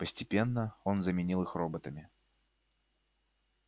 постепенно он заменил их роботами